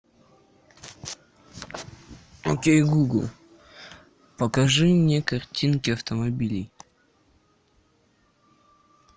окей гугл покажи мне картинки автомобилей